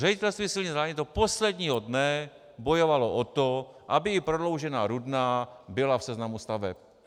Ředitelství silnic a dálnic do posledního dne bojovalo o to, aby i prodloužená Rudná byla v seznamu staveb.